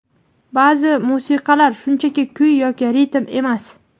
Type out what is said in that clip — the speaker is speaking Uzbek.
Ba’zi musiqalar shunchaki kuy yoki ritm emas.